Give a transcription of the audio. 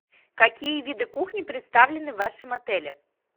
какие виды кухни представлены в вашем отеле